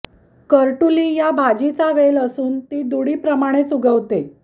करटुली या भाजीचा वेल असून ती दुडीप्रमाणेच उगवते